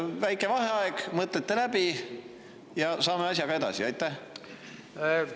Väike vaheaeg, mõtlete läbi ja saame asjaga edasi.